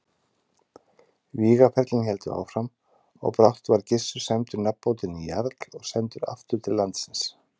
Vígaferlin héldu áfram og brátt var Gissur sæmdur nafnbótinni jarl og sendur aftur til landsins.